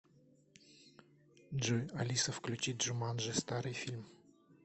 джой алиса включи джуманджи старый фильм